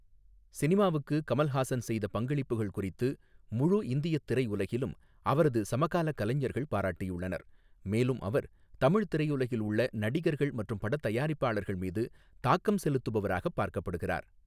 சினிமாவுக்கு கமல்ஹாசன் செய்த பங்களிப்புகள் குறித்து முழு இந்தியத் திரையுலகிலும் அவரது சமகாலக் கலைஞர்கள் பாராட்டியுள்ளனர், மேலும் அவர் தமிழ் திரையுலகில் உள்ள நடிகர்கள் மற்றும் படத் தயாரிப்பாளர்கள் மீது தாக்கம் செலுத்துபவராகப் பார்க்கப்படுகிறார்.